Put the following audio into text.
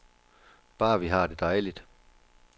Bare vi har det dejligt.